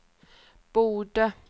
borde